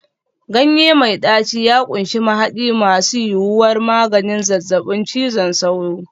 Ganye mai ɗaci ya ƙunshi mahadi masu yuwuwar maganin zazzabin cizon sauro.